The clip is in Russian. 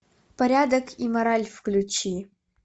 порядок и мораль включи